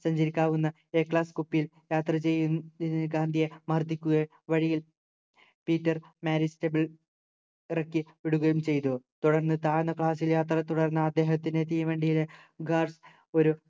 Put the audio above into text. സഞ്ചരിക്കാവുന്ന a class കൂപ്പയിൽ യാത്ര ചെയ്തതിനു ഗാന്ധിയെ മർദിക്കുക വഴിയിൽ പീറ്റർ മാരിറ്റ്സാബിത് ഇറക്കി വിടുകയും ചെയ്തു തുടർന്ന് താഴ്ന്ന class ൽ യാത്ര തുടർന്ന് അദ്ദേഹത്തിന് തീവണ്ടിയിലെ guard ഒരു